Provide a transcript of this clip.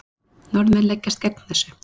Norðmenn leggjast gegn þessu.